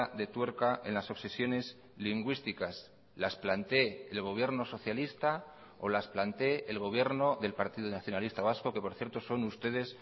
de tuerca en las obsesiones lingüísticas las plantee el gobierno socialista o las plantee el gobierno del partido nacionalista vasco que por cierto son ustedes